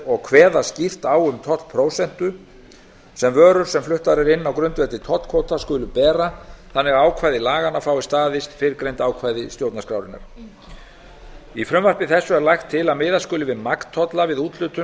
og kveða skýrt á um tollprósentu sem vörur sem fluttar eru inn á grundvelli tollkvóta skulu bera þannig að ákvæði laganna fái staðist fyrrgreind ákvæði stjórnarskrárinnar í frumvarpi þessu er lagt til að miða skuli við magntolla við úthlutun